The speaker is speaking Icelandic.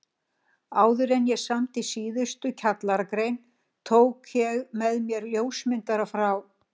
Áðuren ég samdi síðustu kjallaragrein tók ég með mér ljósmyndara frá